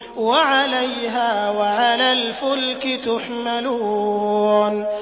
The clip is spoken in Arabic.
وَعَلَيْهَا وَعَلَى الْفُلْكِ تُحْمَلُونَ